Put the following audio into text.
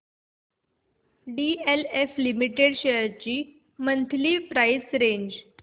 DLF limited shares ची monthly price range